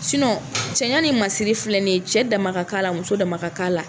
cɛya ni masiri filɛ nin ye, cɛ dama la kan a la, muso dama ka kan a la!